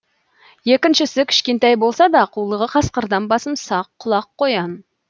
екіншісі кішкентай болса да қулығы қасқырдан басым сақ құлақ қоян